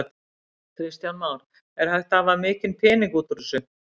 Kristján Már: Er hægt að hafa mikinn pening út úr þessu?